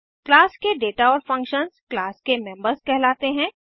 class के data और functions class के मेम्बर्स कहलाते हैं